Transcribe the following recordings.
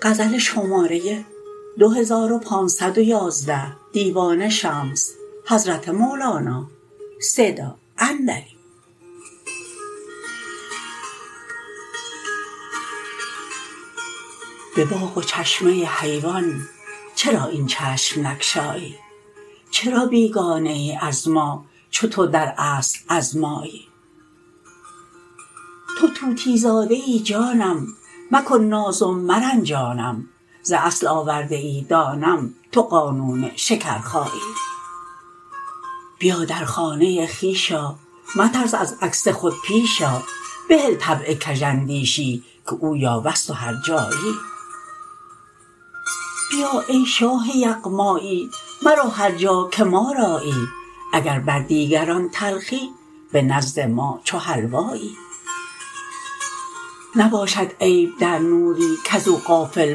به باغ و چشمه حیوان چرا این چشم نگشایی چرا بیگانه ای از ما چو تو در اصل از مایی تو طوطی زاده ای جانم مکن ناز و مرنجانم ز اصل آورده ای دانم تو قانون شکرخایی بیا در خانه خویش آ مترس از عکس خود پیش آ بهل طبع کژاندیشی که او یاوه ست و هرجایی بیا ای شاه یغمایی مرو هر جا که ما رایی اگر بر دیگران تلخی به نزد ما چو حلوایی نباشد عیب در نوری کز او غافل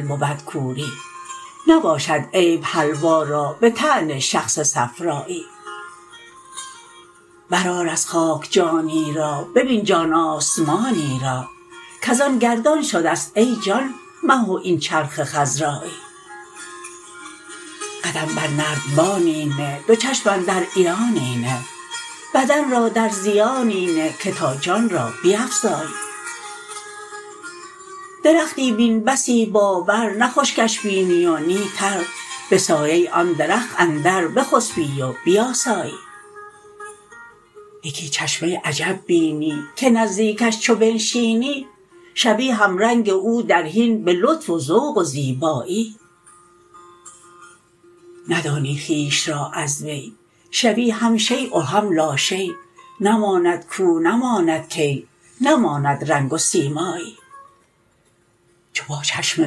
بود کوری نباشد عیب حلوا را به طعن شخص صفرایی برآر از خاک جانی را ببین جان آسمانی را کز آن گردان شده ست ای جان مه و این چرخ خضرایی قدم بر نردبانی نه دو چشم اندر عیانی نه بدن را در زیانی نه که تا جان را بیفزایی درختی بین بسی بابر نه خشکش بینی و نی تر به سایه آن درخت اندر بخسپی و بیاسایی یکی چشمه عجب بینی که نزدیکش چو بنشینی شوی همرنگ او در حین به لطف و ذوق و زیبایی ندانی خویش را از وی شوی هم شیء و هم لاشی نماند کو نماند کی نماند رنگ و سیمایی چو با چشمه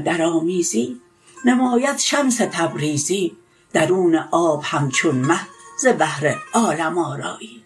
درآمیزی نماید شمس تبریزی درون آب همچون مه ز بهر عالم آرایی